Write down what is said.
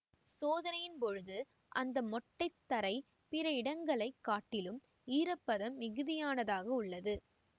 சோதனையின் பொழுது அந்த மொட்டை தரை பிற இடங்களை காட்டிலும் ஈரப்பதம் மிகுதியானதாக உள்ளது